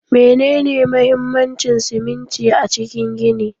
Menene mahimmancin siminti a cikin gini?